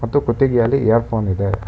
ತ್ತು ಕುತ್ತಿಗೆಯಲ್ಲಿ earphone ಇದೆ.